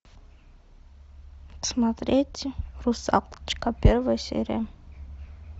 смотреть русалочка первая серия